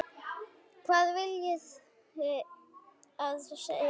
Hvað viljiði að ég segi?